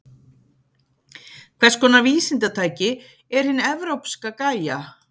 Hvers konar vísindatæki er hin evrópska Gaia?